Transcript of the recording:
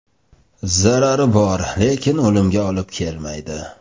Zarari bor, lekin o‘limga olib kelmaydi.